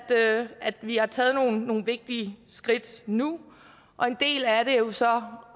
at vi har taget nogle vigtige skridt nu og en del af det er jo så